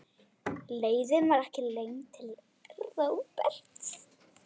Leiðin var ekki löng til Róberts.